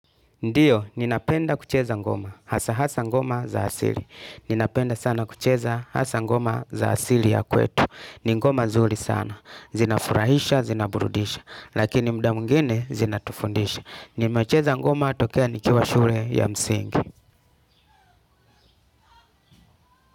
Ndiyo, ninapenda kucheza ngoma, hasa hasa ngoma za asili. Ninapenda sana kucheza hasa ngoma za asili ya kwetu. Ni ngoma nzuri sana. Zinafurahisha, zinaburudisha. Lakini muda mwingine zinatufundisha. Nimecheza ngoma tokea nikiwa shule ya msingi.